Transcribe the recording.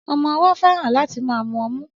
Ọmọ-ọwọ́ fẹ́ràn láti máa mu ọmú